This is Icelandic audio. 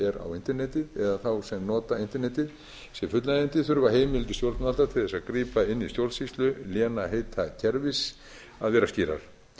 á internetið eða þá sem nota internetið sé fullnægjandi þurfa heimildir stjórnvalda til þess að grípa inn í stjórnsýslu lénsheitakerfis að vera skýrar